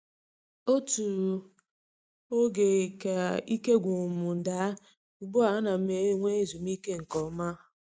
Otu oge ka ike gwụrụ m daa, ugbu a ana m enwe ezumike nke ọma.